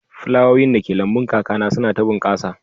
Flawowin dake lambun kakana suna ta bunƙasa